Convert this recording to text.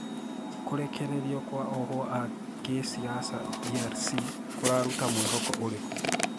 Kũrĩkĩrĩrĩo kwa ohwo aakisiasa DRC kũrarûta mwihoko ũrĩkû?